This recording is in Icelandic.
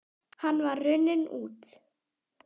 Hann var runninn út